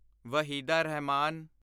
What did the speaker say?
Waheeda Rahman